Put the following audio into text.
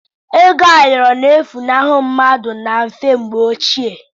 Ego ayọrọ na-efunahụ mmadụ na mfe mgbw gboo.